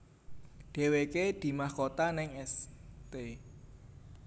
Deweke dimahkota neng St